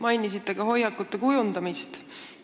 Mainisite ka hoiakute kujundamist.